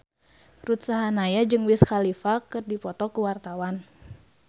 Ruth Sahanaya jeung Wiz Khalifa keur dipoto ku wartawan